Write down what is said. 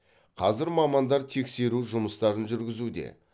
қазір мамандар тексеру жұмыстарын жүргізуде